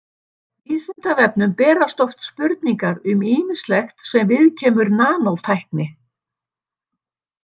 Vísindavefnum berast oft spurningar um ýmislegt sem viðkemur nanótækni.